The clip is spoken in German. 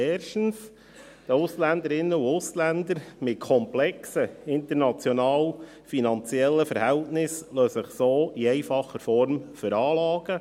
Erstens lassen sich die Ausländerinnen und Ausländern mit komplexen finanziellen Verhältnissen so in einfacher Form veranlagen.